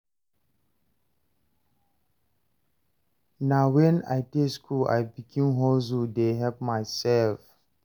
Na wen I dey skool I begin hustle dey help mysef.